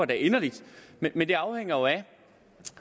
da inderligt men det afhænger jo af